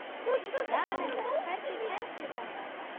Janetta, hvernig kemst ég þangað?